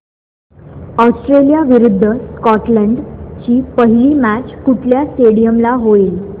Australia विरुद्ध Scotland ची पहिली मॅच कुठल्या स्टेडीयम ला होईल